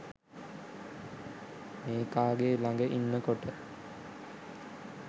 මේකාගේ ලග ඉන්නකොට